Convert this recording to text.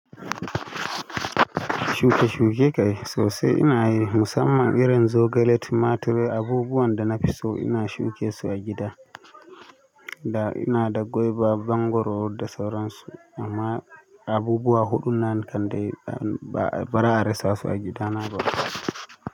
Shuke-shuke kai sosai ina yi, musamman irin zogale, tumatir abubuwan da na fi so ina shuke su a gida. Da ina gwaiba wa mangwaro da sauransu. Amma abubuwa huɗu nan kande ba'a rassa su a gida na ba.